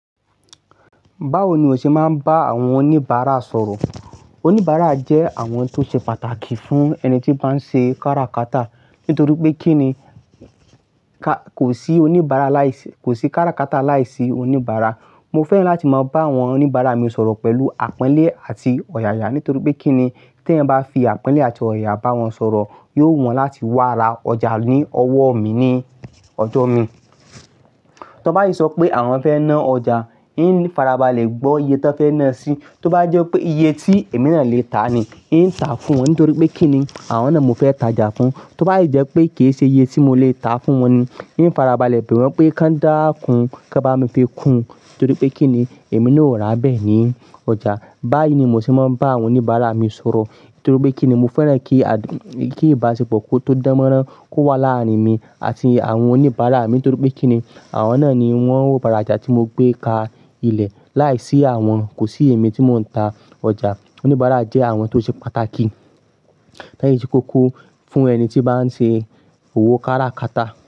Báwo ni o ṣe máa ń bá àwọn oníbàárà sọ̀rọ̀? Oníbàárà jẹ́ àwọn tó ṣe pàtàkì fún ẹni tí bá ń ṣe kára kata. Nítorí pé kí ni, k-kò sí oníbàárà láìsí, kò sí kára kata láìsí oníbàárà. Mo fẹ́ràn láti máa bá àwọn oníbàárà mi sọ̀rọ̀ pẹ̀lú àponlé àti ọ̀yàyà nítorí pé kí ni, tí ẹ bá fi àpẹ́lé àti ọ̀yàyà bá wọn sọ̀rọ̀, yóò wu wọ́n láti wá ra ọjà ní ọwọ́ mi ní ọjọ́ mi. Tan bá sí sọ pé àwọn fẹ́ ná ọjà, ń fara balẹ̀ gbọ́ iye tan fẹ́ ná sì. Tó bá jẹ́ pé iye tí èmi náà lè tà ni, ń tà fún wọn nítorí pé kí ni, àwọn náà mo fẹ́ tàjà fún. Tó bá sí jẹ́ pé kì í ṣe iye tí mo lè tà fún wọn ni, ń fara balẹ̀ bẹ̀ wọ́n pé ká dáa kún kan bá mi fi kun. Nítorí pé kí ni, èmi náà ó rà bẹ́ẹ̀ ní ọjà. Báyìí ni mò ṣe máa ń bá àwọn oníbàárà mi sọ̀rọ̀. Nítorí pé kí ni, mo fẹ́ràn kí a- kí ìbáṣepọ̀ tó dánmọ́rán kó wà láàárín mi àti àwọn oníbàárà mi. Nítorí pé kí ni, àwọn náà ni wọ́n ó bá ra ọjà tí mo gbé ka ilẹ̀. Láìsí àwọn, kò sí èmi tí mò ń ta ọjà. Oníbàárà jẹ́ àwọn tó ṣe pàtàkì lẹ́yìn tí kókó fún ẹni tí bá ń ṣe òwò kára kata.